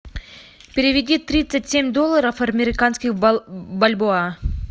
переведи тридцать семь долларов американских в бальбоа